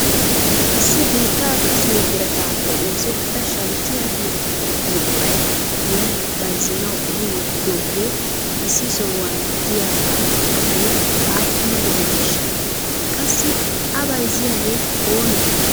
issi biitta kassiyoo biratappe oosettida shalkkiya giyo buquray giyan bayzzanaw ehi wottidoogee issi sohuwan de'iyaaga gatee aappuna gidaneshsha? qassi a bayzziyaagee oonee?